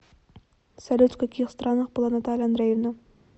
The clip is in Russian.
салют в каких странах была наталья андреевна